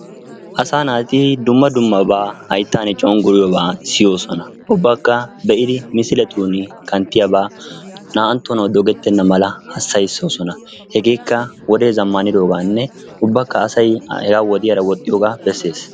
Asaa naati dumma dummabaa hayittaani cengguriyobaa siyoosona. Ubbakka misiletuuni kanttiyabaa naa"anttonawu dogettenna mala hassayissoosona. Hegeekka wodee zammaanidoogaaninne ubbakka asay wodiyaara woxxiyogaa besses.